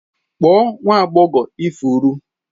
Kpọọ nwa agbọghọ ifuru